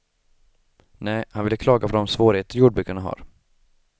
Nej, han ville klaga på de svårigheter jordbrukarna har.